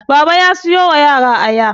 Baba ya siyo wa yara Aya